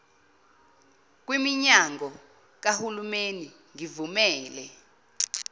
kwiminyano kahulimeni ngivumele